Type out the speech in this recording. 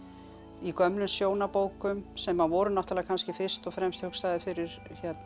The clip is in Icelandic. í gömlum sem voru náttúrulega kannski fyrst og fremst hugsaðar fyrir